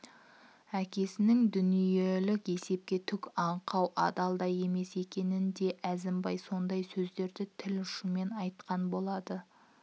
әкесінің дүниелік есепке түк аңқау адал да емес екенін де әзімбай сондай сөздерді тіл ұшымен айтқан болады